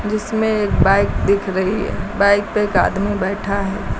जिसमे एक बाइक दिख रही है बाइक पे एक आदमी बैठा है।